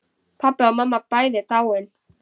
Pabbi og mamma bæði dáin.